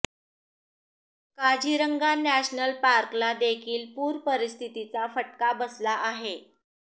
Kaziranga national पार्कला देखील पूर परिस्थितीचा फटका बसला आहे